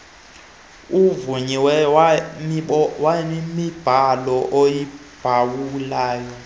avunyiweyo wemibhalo yokuphawula